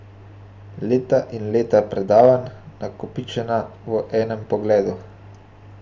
Leta in leta predavanj, nakopičena v enem pogledu.